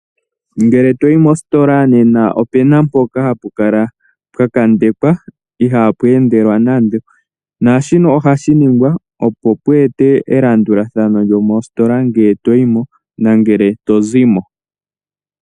Ngele to yi mositola nena opu na mpoka hapu kala pwa kondekwa ihaapu endelwa nando. Shika ohashi ningwa, opo pu etwe elandulathano lyomositola ngele to yi mo nenge to zi mo.